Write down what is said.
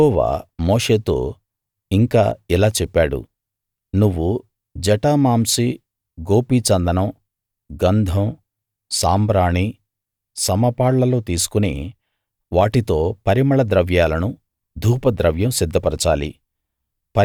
యెహోవా మోషేతో ఇంకా ఇలా చెప్పాడు నువ్వు జటామాంసి గోపిచందనం గంధం సాంబ్రాణి సమపాళ్ళలో తీసుకుని వాటితో పరిమళ ద్రవ్యాలను ధూపద్రవ్యం సిద్ధపరచాలి